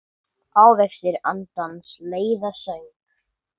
Ávextir andans leiða söng.